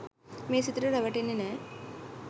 මේ සිතට රැවටෙන්නෙ නෑ.